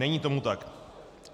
Není tomu tak.